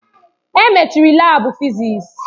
Emechiri laabu fịzịs.